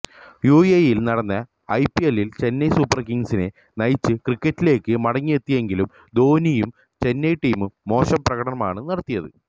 യുഎഇയിൽ നടന്ന ഐപിഎല്ലിൽ ചെന്നൈ സൂപ്പർ കിങ്സിനെ നയിച്ചു ക്രിക്കറ്റിലേക്കു മടങ്ങിയെത്തിയെങ്കിലും ധോണിയും ചെന്നൈ ടീമും മോശം പ്രകടനമാണു നടത്തിയത്